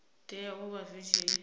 tea u vha zwi si